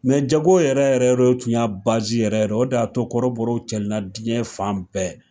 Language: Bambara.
jago yɛrɛ yɛrɛ o de tun y'a o de y'a to kɔrɔbɔrɔ cɛrina diɲɛ fan bɛɛ